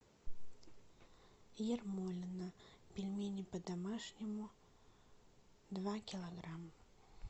ермолино пельмени по домашнему два килограмма